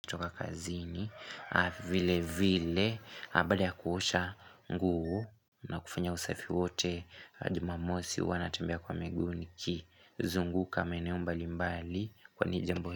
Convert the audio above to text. Toka kazini, vile vile, baada ya kuosha nguo, na kufanya usafi wote, jumamosi huwa natembea kwa miguu nikizunguka maeneo mbali mbali kwani jambo.